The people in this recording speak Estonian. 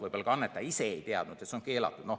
Võib-olla ka annetaja ise ei teadnud, et see on keelatud.